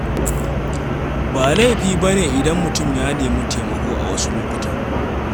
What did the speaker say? Ba laifi bane idan mutum ya nemi taimako awasu lokutan.